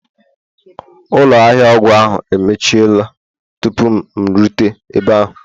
Ụlọ ahịa ọgwụ ahu emechiela tupu m erute ebe ahụ